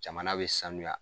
Jamana bɛ sanuya